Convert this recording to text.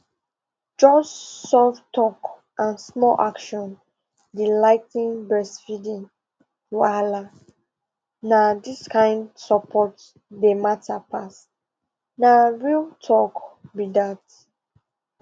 just soft talk and small action dey ligh ten breastfeeding wahala na this kind support dey matter pass na real talk be dat